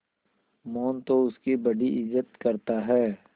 मोहन तो उसकी बड़ी इज्जत करता है